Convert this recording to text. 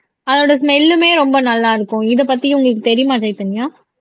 அதோட ஸ்மெல்லுமே ரொம்ப நல்லா இருக்கும் இதைப்பத்தி உங்களுக்கு தெரியுமா சைதன்யா